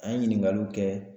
An ye ɲiningaliw kɛ